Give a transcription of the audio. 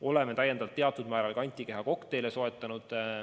Oleme teatud määral täiendavalt soetanud ka antikehakokteile.